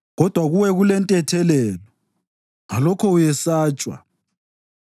Kodwa kuwe kulentethelelo; ngalokho uyesatshwa.